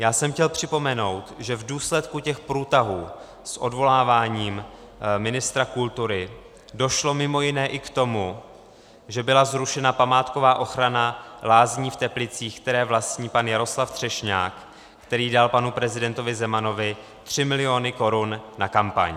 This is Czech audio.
Já jsem chtěl připomenout, že v důsledku těch průtahů s odvoláváním ministra kultury došlo mimo jiné i k tomu, že byla zrušena památková ochrana lázní v Teplicích, které vlastní pan Jaroslav Třešňák, který dal panu prezidentovi Zemanovi tři miliony korun na kampaň.